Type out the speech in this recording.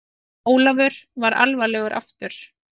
Jón Ólafur varð alvarlegur aftur.